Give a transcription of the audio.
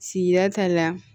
Sigida ta la